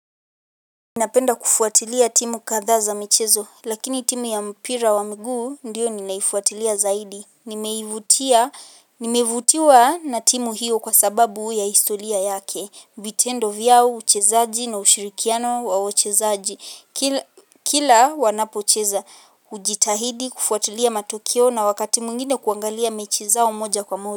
Napenda kufuatilia timu kadhaa za michezo, lakini timu ya mpira wa mguu, ndiyo ninaifuatilia zaidi. Nimeivutia, nimeivutiwa na timu hiyo kwa sababu ya historia yake. Vitendo vyao uchezaji na ushirikiano wa wachezaji. Kila Kila wanapocheza. Hu Ujitahidi, kufuatilia matokeo na wakati mwengine kuangalia mechi zao moja kwa moja.